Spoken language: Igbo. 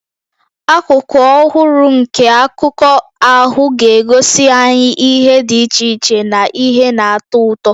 Akụkụ ọhụrụ nke akụkọ ahụ ga-egosi anyị ihe dị iche iche na ihe na-atọ ụtọ.